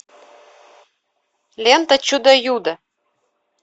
лента чудо юдо